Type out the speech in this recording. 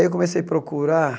Aí eu comecei a procurar